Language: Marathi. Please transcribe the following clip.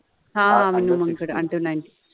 हा आ विनोमंगल अंडर नाइनटिन {under ninteen}.